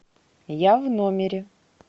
я в номере